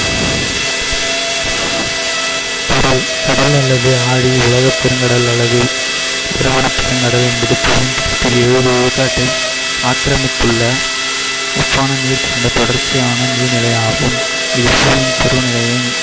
கடல். கடல் அல்லது ஆழி உலகப்பெருங்கடல் அல்லது பெருங்கடல் என்பது விழுக்காட்டை ஆக்கிரமித்துள்ள உப்பான நீர் கொண்ட தொடர்ச்சியான நீர்நிலை ஆகும். இது